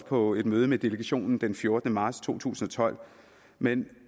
på et møde med delegationen den fjortende marts to tusind og tolv men